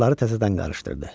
Kartları təzədən qarışdırdı.